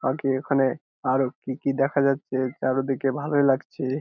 আগে ওখানে আর ও কি কি দেখা যাচ্ছে চারিদিকে ভালোই লাগছে।